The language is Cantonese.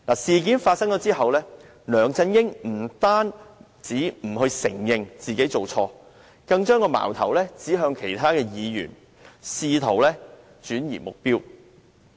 事件發生之後，梁振英不單不承認犯錯，更把矛頭指向其他議員，試圖轉移目標。